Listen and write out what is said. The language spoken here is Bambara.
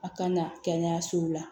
A kana kɛnɛyasow la